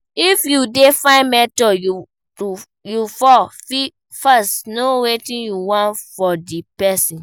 If you dey find mentor, you fo first know wetin you want from di person